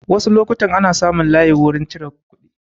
Wasu lokutan ana samun layi wurin cire kuɗi